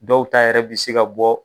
Dɔw ta yɛrɛ bi se ka bɔ